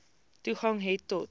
toegang het tot